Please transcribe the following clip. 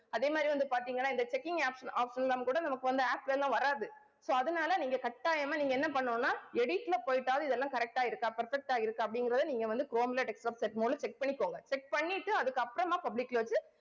அதே மாதிரி வந்து பார்த்தீங்கன்னா இந்த checking option option எல்லாம் கூட நமக்கு வந்து apps ல எல்லாம் வராது so அதனால நீங்க கட்டாயமா நீங்க என்ன பண்ணணும்னா edit ல போயிட்டாவது இதெல்லாம் correct ஆ இருக்கா perfect ஆ இருக்கா அப்படிங்கிறதை நீங்க வந்து chrome ல desktop set mode ல check பண்ணிக்கோங்க check பண்ணிட்டு அதுக்கப்புறமா public ல வச்சு